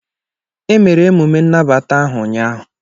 Emere emume nnabata ahụ ụnyaahụ.